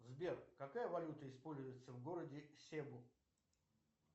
сбер какая валюта используется в городе себу